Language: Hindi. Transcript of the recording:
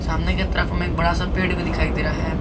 सामने की तरफ हमे एक बड़ा सा पेड़ भी दिखाई दे रहा है।